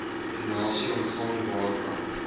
donasies ontvang waarvan